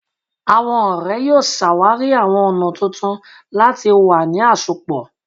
Awọn ọrẹ yoo ṣawari awọn ọna tuntun lati wa ni asopọ